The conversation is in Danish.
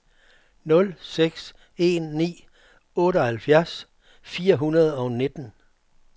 nul seks en ni otteoghalvfjerds fire hundrede og nitten